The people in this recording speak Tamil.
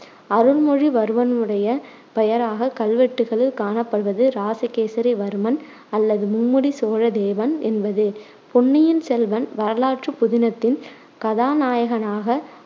அருண்மொழிவர்மனுடைய பெயராக கல்வெட்டுக்களில் காணப்படுவது இராசகேசரி வர்மன் அல்லது மும்முடி சோழ தேவன் என்பது. பொன்னியின் செல்வன் வரலாற்றுப் புதினத்தின் கதாநாயகனாக